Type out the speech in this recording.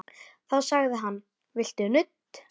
Þá sagði hann: Viltu nudd?